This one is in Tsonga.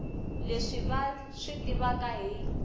leswi va swi tivaka hi